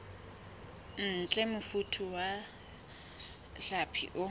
ntle mofuta wa hlapi o